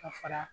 Ka fara